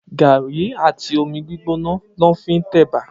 Gàrí àtí ómí gbigbónà lò fí n tè èbà